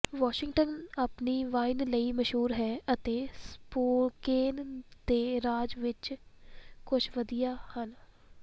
Washington ਆਪਣੀ wine ਲਈ ਮਸ਼ਹੂਰ ਹੈ ਅਤੇ ਸਪੋਕੇਨ ਦੇ ਰਾਜ ਵਿੱਚ ਕੁੱਝ ਵਧੀਆ ਹਨ